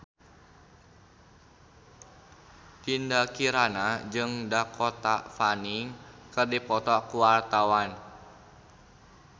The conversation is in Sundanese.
Dinda Kirana jeung Dakota Fanning keur dipoto ku wartawan